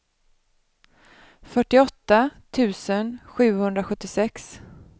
fyrtioåtta tusen sjuhundrasjuttiosex